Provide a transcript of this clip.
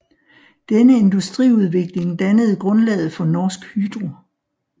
Denne industriudvikling dannede grundlaget for Norsk Hydro